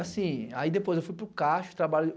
Aí, depois, eu fui para o Cacho.